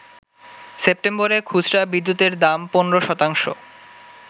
সেপ্টেম্বরে খুচরা বিদ্যুতের দাম ১৫ শতাংশ